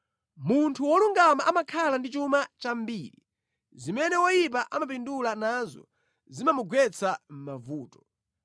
Munthu wolungama amakhala ndi chuma chambiri, zimene woyipa amapindula nazo zimamugwetsa mʼmavuto.